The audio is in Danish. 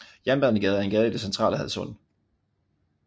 Jernbanegade er en gade i det centrale Hadsund